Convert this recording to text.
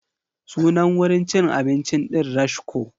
Sunan wurin cin abincin ɗin Rashko.